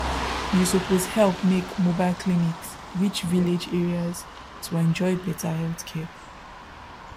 you suppose help make mobile clinics reach village areas to enjoy better healthcare